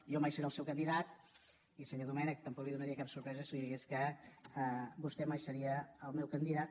jo mai seré el seu candidat i senyor domènech tampoc li donaria cap sorpresa si li digués que vostè mai seria el meu candidat